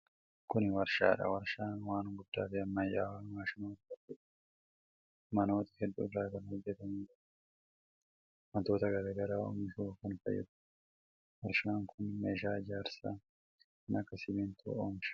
Kun warshaa dha. Warshaan waan guddaa fi ammayyawaa maashinoota hedduu fi manoota hedduu irraa kan hojjatamu yoo ta'u, wantoota garaa garaa oomishuuf kan fayyaduu dha. Warshaan kun meeshaa ijaarsaa kan akka simiintoo oomisha.